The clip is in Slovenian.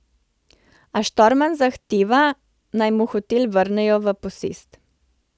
A Štorman zahteva, naj mu hotel vrnejo v posest.